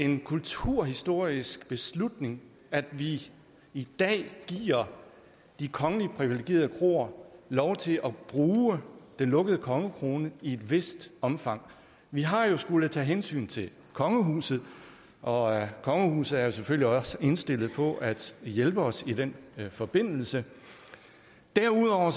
en kulturhistorisk beslutning at vi i dag giver de kongeligt privilegerede kroer lov til at bruge den lukkede kongekrone i et vist omfang vi har jo skullet tage hensyn til kongehuset og kongehuset er selvfølgelig også indstillet på at hjælpe os i den forbindelse derudover